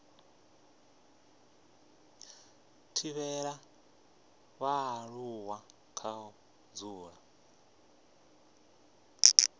thivhela vhaaluwa kha u dzula